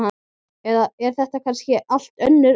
Eða er þetta kannski allt önnur önd?